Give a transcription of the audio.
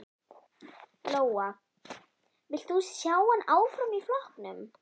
Lóa: Vilt þú sjá hann áfram í flokknum?